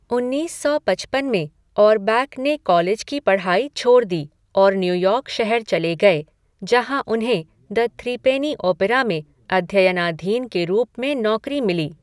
उन्नीस सौ पचपन में, ओरबैक ने कॉलेज की पढ़ाई छोड़ दी और न्यूयॉर्क शहर चले गए जहाँ उन्हें द थ्रीपेनी ओपेरा में अध्ययनाधीन के रूप में नौकरी मिली।